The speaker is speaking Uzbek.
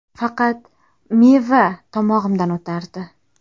Faqat meva tomog‘imdan o‘tardi.